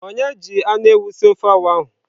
Onye ji anu ewu sie ofe awa ahu?